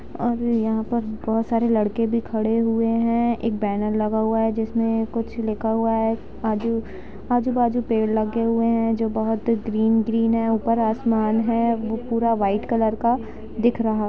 और यहाँ पर बहुत सारे लडके भी खड़े हुए है एक बैनर लगा हुआ है जिसमे कुछ लिखा हुआ है आजु बाजु पेड़ लगे हुआ है जो बहुत ही ग्रीन ग्रीन है ऊपर आसमान है पूरा वाइट कलर का दिख रहा--